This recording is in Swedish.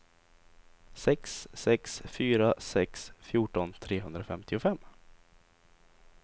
sex sex fyra sex fjorton trehundrafemtiofem